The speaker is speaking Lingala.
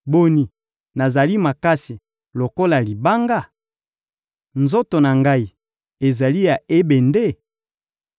Boni, nazali makasi lokola libanga? Nzoto na ngai ezali ya ebende?